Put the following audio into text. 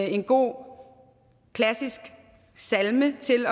en god klassisk salme til